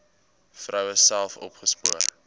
vroue self opgespoor